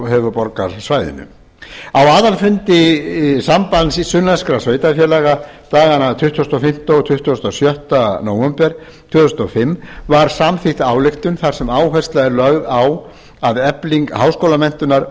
höfuðborgarsvæðinu á aðalfundi sambands sunnlenskra sveitarfélaga dagana tuttugasta og fimmta og tuttugasta og sjötta nóvember tvö þúsund og fimm var samþykkt ályktun þar sem áhersla er lögð á að efling háskólamenntunar